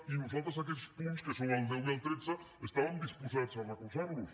i nosaltres aquests punts que són el deu i el tretze estàvem disposats a recolzar los